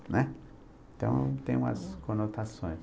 Né? Então, tem umas conotações.